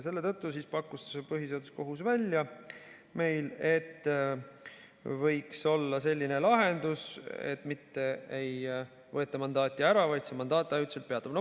Selle tõttu pakkus põhiseaduskohus välja, et võiks olla selline lahendus, et mitte ei võeta mandaati ära, vaid see mandaat ajutiselt peatub.